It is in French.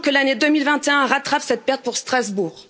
Nous voulons que l'année 2021 rattrape cette perte pour Strasbourg.